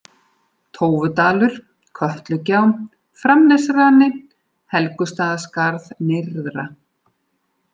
Tófudalur, Kötlugjá, Framnesrani, Helgustaðaskarð nyrðra